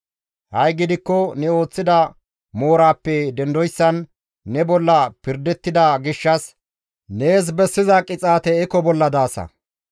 Ha7i gidikko ne ooththida mooraappe dendoyssan ne bolla pirdettida gishshas, nees bessiza qixaate eko bolla daasa.